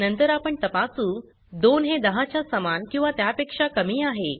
नंतर आपण तपासू 2 हे 10 च्या समान किंवा त्यापेक्षा कमी आहे